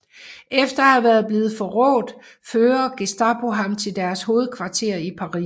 Efter at være blevet forrådt fører Gestapo ham til deres hovedkvarter i Paris